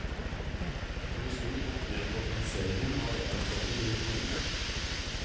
Han vil snu opp ned på organiseringen av eldreomsorgen i kommunene.